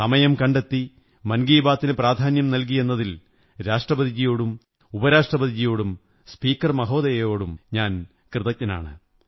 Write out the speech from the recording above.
സമയം കണ്ടെത്തി മൻ കീ ബാത്തിന് പ്രാധാന്യം നല്കിയെന്നതിൽ രാഷ്ട്രപതിജിയോടും ഉപരാഷ്ട്രപതിജിയോടും സ്പീകർ മഹോദയയോടും കൃതജ്ഞനാണ്